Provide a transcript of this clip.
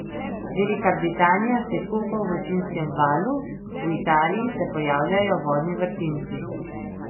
Velika Britanija se kopa v vročinskem valu, v Italiji se pojavljajo vodni vrtinci.